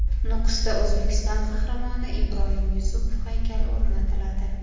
Nukusda O‘zbekiston Qahramoni Ibroyim Yusupov haykali o‘rnatiladi.